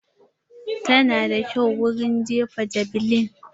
Ta na da kyau wurin jefa javeline.